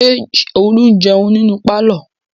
Ṣé Olú jẹun nínú pálọ̀?